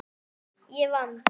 Ég vann!